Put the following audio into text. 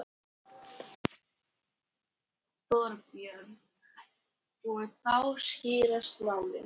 Þorbjörn: Og þá skýrast málin?